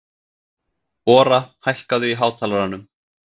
Ora, hækkaðu í hátalaranum.